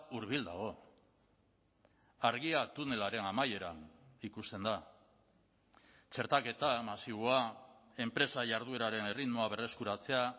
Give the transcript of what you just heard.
hurbil dago argia tunelaren amaieran ikusten da txertaketa masiboa enpresa jardueraren erritmoa berreskuratzea